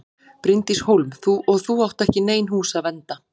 Bryndís Hólm: Og átt þú ekki í nein hús að vernda?